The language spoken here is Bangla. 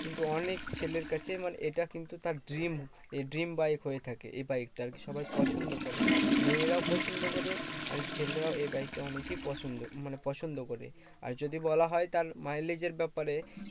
কিন্তু অনেক ছেলের কাছে মানে এটা কিন্তু তার dream এ dream বাইক হয়ে থাকে। এই বাইকটা আরকি সবাই পছন্দ করে। মেয়েরাও পছন্দ করে আর ছেলেরাও এই বাইকটা অনেকই পছন্দ মানে পছন্দ করে। আর যদি বলা হয় তাহলে mileage এর ব্যাপারে